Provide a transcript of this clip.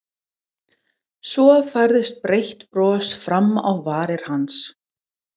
Svo færðist breitt bros fram á varir hans.